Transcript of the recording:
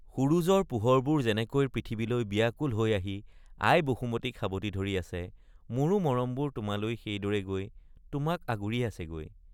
সূৰযৰ পোহৰবোৰ যেনেকৈ পৃথিৱীলৈ বিয়াকুল হৈ আহি আই বসুমতিক সাবটি ধৰি আছে—মোৰো মৰমবোৰ তোমালৈ সেইদৰে গৈ তোমাক আগুৰি আছেগৈ।